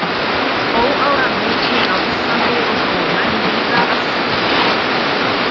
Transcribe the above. Óáran mikil á Íslandi og dóu menn víða af sulti.